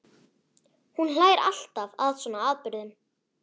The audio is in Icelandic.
Hún hlær alltaf að svona atburðum.